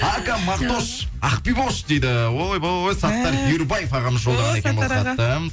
ака мағтош ақбибош дейді ойбой саттаров ерубай ағамыз жолдаған екен